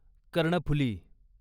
Karnaphuli